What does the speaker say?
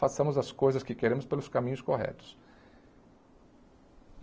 Façamos as coisas que queremos pelos caminhos corretos.